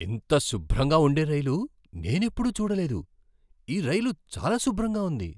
ఇంత శుభ్రంగా ఉండే రైలు నేనెప్పుడూ చూడలేదు! ఈ రైలు చాలా శుభ్రంగా ఉంది!